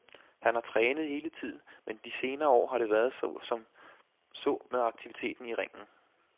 Han har trænet hele tiden, men de senere år har det været så som så med aktiviteten i ringen.